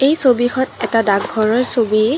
এই ছবিখন এটা ডাকঘৰৰ ছবি।